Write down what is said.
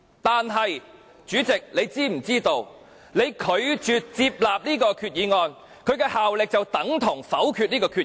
但是，主席，你是否知道，你拒絕接納這項決議案，效力便等同否決這項決議案。